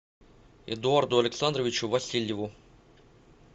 эдуарду александровичу васильеву